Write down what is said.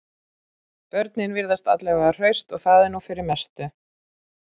Börnin virðast alla vega hraust og það er nú fyrir mestu